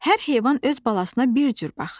Hər heyvan öz balasına bir cür baxır.